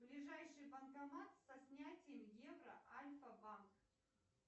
ближайший банкомат со снятием евро альфабанк